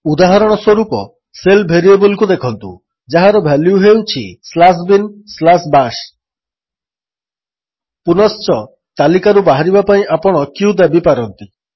ଉଦାହରଣସ୍ୱରୂପ ଶେଲ୍ ଭେରିଏବଲ୍କୁ ଦେଖନ୍ତୁ ଯାହାର ଭାଲ୍ୟୁ ହେଉଛି ସ୍ଲାଶ୍ ବିନ୍ ସ୍ଲାଶ୍ ବାଶ୍ ପୁନଶ୍ଚ ତାଲିକାରୁ ବାହାରିବା ପାଇଁ ଆପଣ q ଦାବିପାରନ୍ତି